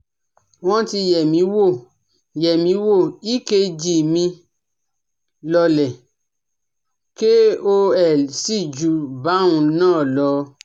Wọ́n ti yẹ̀ mí wò, yẹ̀ mí wò, ekg mi lọọlẹ̀ kò sì ju báhun náà lọ